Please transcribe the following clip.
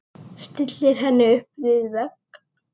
Stillir henni upp við vegg.